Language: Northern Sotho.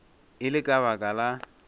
e le ka baka la